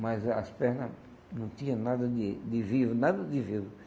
mas as pernas não tinham nada de de vivo, nada de vivo.